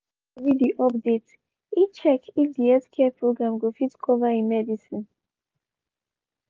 after e read di update e check if di healthcare program go fit cover e medicine.